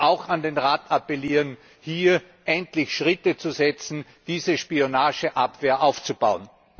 Ich möchte auch an den Rat appellieren, hier endlich Schritte zu setzen, um diese Spionageabwehr aufzubauen!